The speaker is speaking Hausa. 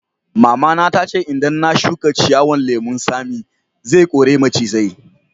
Mama ta ce idan na shuka ciyawan lemun Sami, zai kore macizai.